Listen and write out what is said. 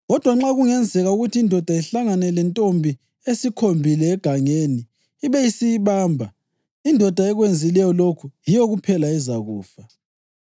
Kodwa nxa kungenzeka ukuthi indoda ihlangane lentombi esikhombile egangeni ibe isiyibamba, indoda ekwenzileyo lokhu yiyo kuphela ezakufa.